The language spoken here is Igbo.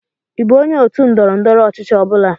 Ị bụ onye otu ndọrọ ndọrọ ọchịchị ọ bụla?